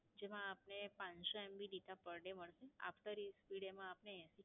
જેમાં આપને પાંચસો MB Data Per Day મળેશે. After